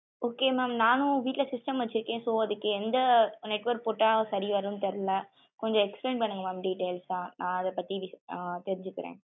Okay mam நானும் வீட்டுல system வச்சுருக்கே. so அதுக்கு எந்த network போட சேரி வரும் தெர்ல கொஞ்சம் explain பண்ணுங்க mam details ஆஹ் நா அத பத்தி தெருஞ்சுகுரே.